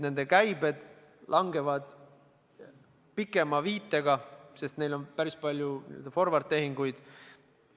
Nende käibed langevad pikema viitega, sest neil on päris palju n-ö forward-tehinguid.